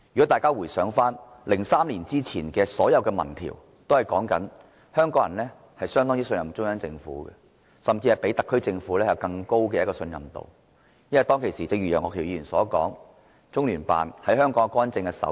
大家回想，在2003年前，所有民調均顯示香港人相當信任中央政府，甚至信中央多於信特區政府，因為當時，正如楊岳橋議員所說，我們不太察覺中聯辦在香港干政的身影。